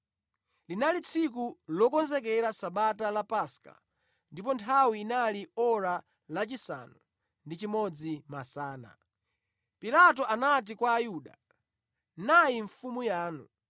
Linali tsiku lokonzekera Sabata la Paska ndipo nthawi inali ora lachisanu ndi chimodzi masana. Pilato anati kwa Ayuda, “Nayi mfumu yanu.”